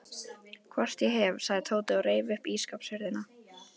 Hvort ég hef, sagði Tóti og reif upp ísskápshurðina.